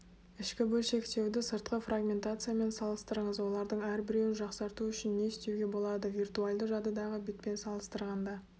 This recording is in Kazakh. ішкі бөлшектеуді сыртқы фрагментациямен салыстырыңыз олардың әрбіреуін жақсарту үшін не істеуге болады виртуальды жадыдағы бетпен салыстырғанда